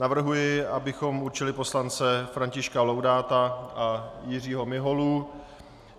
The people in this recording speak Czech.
Navrhuji, abychom určili poslance Františka Laudáta a Jiřího Miholu.